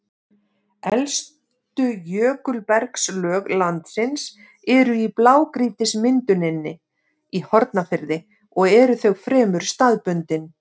Elstu jökulbergslög landsins eru í blágrýtismynduninni í Hornafirði og eru þau fremur staðbundin.